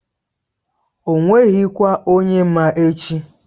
O nweghị kwa onye ma echi.